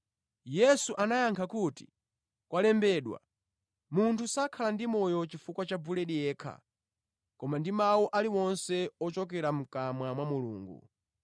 Yesu anayankha kuti, “Zalembedwa, ‘Munthu sadzakhala ndi moyo ndi chakudya chokha, koma ndi mawu aliwonse ochokera mʼkamwa mwa Mulungu.’ ”